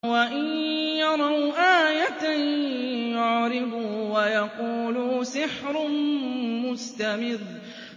وَإِن يَرَوْا آيَةً يُعْرِضُوا وَيَقُولُوا سِحْرٌ مُّسْتَمِرٌّ